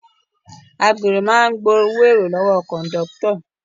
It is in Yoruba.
Agbèrò máa ń gbowó èrò lọ́wọ́ kọ̀ndọ́tọ̀